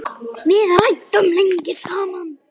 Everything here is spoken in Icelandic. Við ræddum lengi saman.